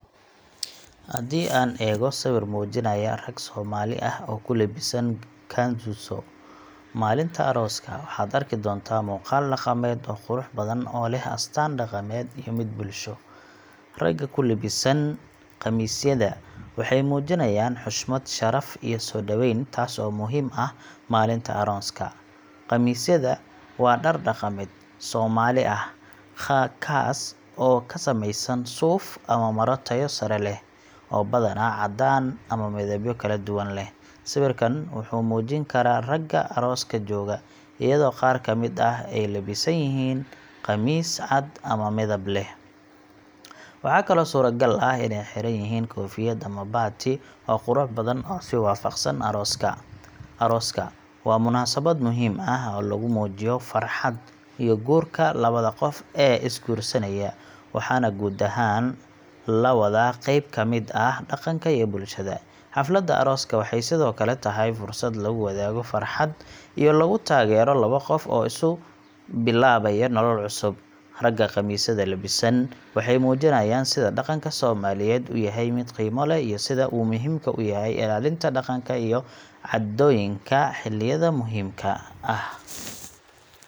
Haddii aan eego sawir muujinaya rag Soomaali ah oo ku labisan kanzuso maalinta arooska, waxaad arki doontaa muuqaal dhaqameed oo qurux badan oo leh astaan dhaqameed iyo mid bulsho. Ragga ku labisan qamisyada waxay muujinayaan xushmad, sharaf iyo soo dhaweyn, taas oo muhiim ah maalinta arooska. Qamisyada waa dhar dhaqameed Soomaali ah, kaas oo ka samaysan suuf ama maro tayo sare leh, oo badanaa caddaan ama midabyo kaladuwan leh. Sawirkan wuxuu muujin karaa ragga arooska jooga, iyadoo qaar ka mid ah ay labisan yihiin qamiis cad ama midab leh, waxaa kaloo suuragal ah inay xiran yihiin koofiyad ama baati, oo qurux badan oo is waafaqsan arooska. Arooska waa munaasabad muhiim ah oo lagu muujiyo farxadda iyo guurka labada qof ee is guursanaya, waxaana guud ahaan la wadaa qayb ka mid ah dhaqanka iyo bulshada. Xafladda arooska waxay sidoo kale tahay fursad lagu wadaago farxadda iyo lagu taageero laba qof oo isu bilaabaya nolol cusub. Ragga kanzuso labisan waxay muujinayaan sida dhaqanka Soomaaliyeed u yahay mid qiimo leh iyo sida uu muhiimka u yahay ilaalinta dhaqanka iyo caadooyinka xilliyada muhiimka ah.